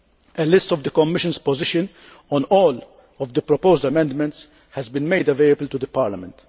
A list of the Commission's positions on all the proposed amendments has been made available to Parliament.